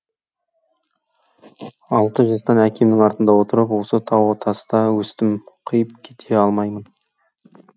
алты жастан әкемнің артында отырып осы тау таста өстім қиып кете алмаймын